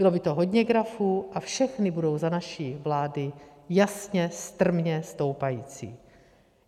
Bylo by to hodně grafů a všechny budou za naší vlády jasně strmě stoupající.